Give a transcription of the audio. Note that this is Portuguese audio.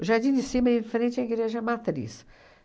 O Jardim de Cima, é em frente à Igreja Matriz.